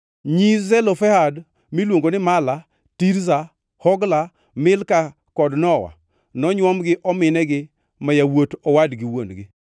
Nyi Zelofehad miluongo ni Mala, Tirza, Hogla, Milka kod Nowa nonywom gi ominegi ma yawuot owadgi wuon-gi.